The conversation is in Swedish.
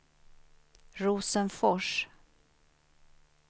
Rosenfors